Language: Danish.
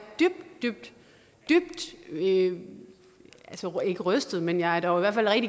dybt dybt ikke rystet men jeg er dog i hvert fald